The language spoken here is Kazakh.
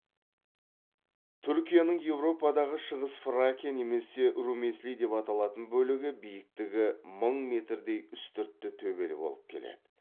түркияның еуропадағы шығыс фракия немесе румеслей деп аталатын бөлігі биіктігі мың метрдей үстіртті төбелі болып келеді